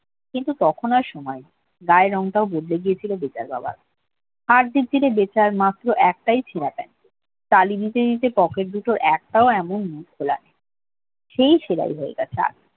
কিন্তু তখন আর সময় নেই গায়ের রংটাও বদলে গিয়েছিল বেটার বাবার হার-জির জিরে বেতার মাত্র একটাই ছেড়া প্যান্ট তালি দিতে দিতে pocket দুটোর একটাও এমন মুখ খোলা সেই ছেরাই রয়ে গেছে